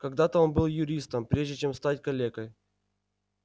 когда-то он был юристом прежде чем стать калекой